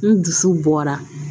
N dusu bɔra